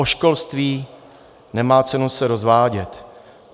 O školství nemá cenu se rozvádět.